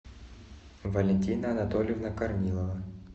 валентина анатольевна корнилова